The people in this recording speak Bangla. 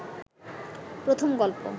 প্রথম গল্প